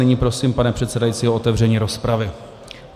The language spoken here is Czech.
Nyní prosím pana předsedajícího o otevření rozpravy.